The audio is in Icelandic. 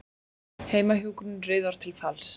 Heimahjúkrun riðar til falls